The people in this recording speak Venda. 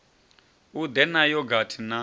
u ḓe na yogathi na